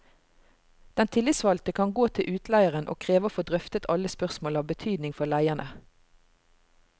Den tillitsvalgte kan gå til utleieren og kreve å få drøftet alle spørsmål av betydning for leierne.